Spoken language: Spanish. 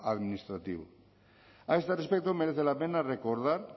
administrativo a este respecto merece la pena recordar